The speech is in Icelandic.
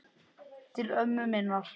Til ömmu minnar.